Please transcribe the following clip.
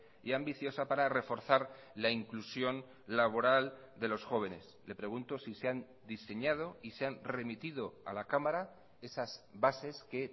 y ambiciosa para reforzar la inclusión laboral de los jóvenes le pregunto si se han diseñado y se han remitido a la cámara esas bases que